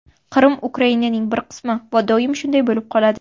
Qrim Ukrainaning bir qismi va doim shunday bo‘lib qoladi.